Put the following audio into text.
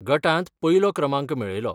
गटांत पयलो क्रमांक मेळयलो.